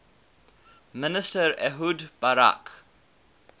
minister ehud barak